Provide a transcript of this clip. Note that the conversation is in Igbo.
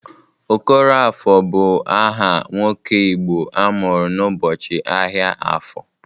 Okoroafọ bụ aha nwoke Igbo amụrụ n'ụbọchị ahịa afọ.